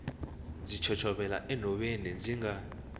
ndzi chochovela enhoveni ndzi nga